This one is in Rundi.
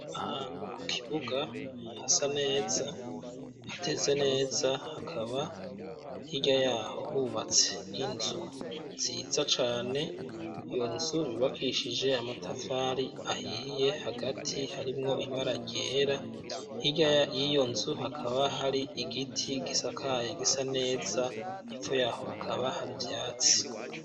Ahantu ku kibuga hasa neza hateze neza hakaba hirya yaho hubatse inzu nziza cane, iyo nzu yubakishije amatafari ahiye hagati harimwo ibara ryera, hirya y'iyo nzu hakaba hari igiti gisakaye gisa neza, hepfo yaho hakaba hari ivyatsi.